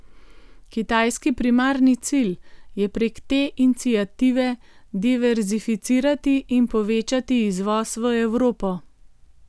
Kitajski primarni cilj je prek te iniciative diverzificirati in povečati izvoz v Evropo.